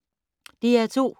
DR2